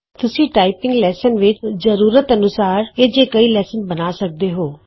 ਤੁਸੀ typing lesson ਵਿਚ ਆਪਣੀ ਜ਼ਰੂਰਤ ਅਨੁਸਾਰ ਅਜਿਹੇ ਕਈ ਲੈਵਲ ਬਣਾ ਸਕਦੇ ਹੋ